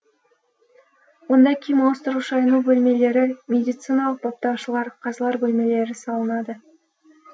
онда киім ауыстыру шайыну бөлмелері медициналық баптаушылар қазылар бөлмелері салынады